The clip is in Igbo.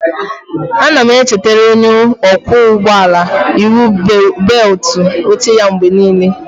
Ana m echetara onye ọkwọ ụgbọ ala iwu bewutu oche ya mgbe n'ile